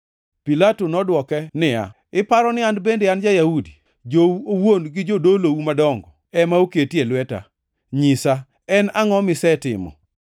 Pilato nodwoke niya, “Iparo ni an bende an ja-Yahudi? Jou owuon gi jodolou madongo ema oketi e lweta. Nyisa, en angʼo misetimo?”